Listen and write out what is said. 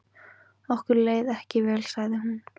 Okkur leið ekki vel sagði hún.